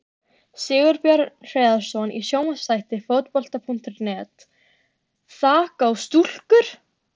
Sigurbjörn Hreiðarsson í sjónvarpsþætti Fótbolta.net: Þak á stúkur!?